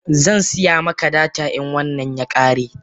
Zansiya maka data in wannan ya kare.